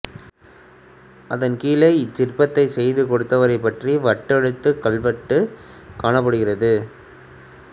அதன் கீழே இச்சிற்பத்தை செய்து கொடுத்தவரைப் பற்றிய வட்டெழுத்துக் கல்வெட்டு காணப்படுகிறது